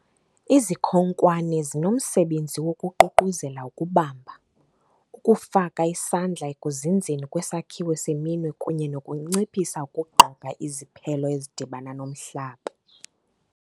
Izikhonkwane zinomsebenzi wokuququzelela ukubamba, ukufaka isandla ekuzinzeni kwesakhiwo seminwe kunye nokunciphisa ukugqoka iziphelo ezidibana nomhlaba.